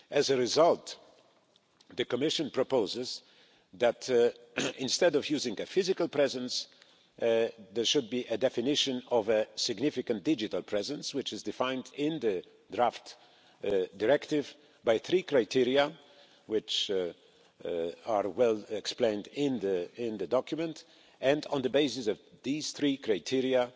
As a result, the Commission proposes that, instead of using a physical presence, there should be a definition of a significant digital presence, which is defined in the draft directive by three criteria which are well explained in the document, and on the basis of these three criteria